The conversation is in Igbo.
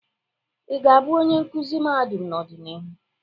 Ị ga-abụ onye nkuzi mahadum n'ọdịnihu?